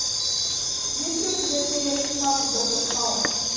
есть ли у тебя серия шестнадцать доктор хаус